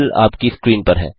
हल आपकी स्क्रीन पर है